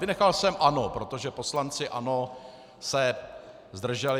Vynechal jsem ANO, protože poslanci ANO se zdrželi.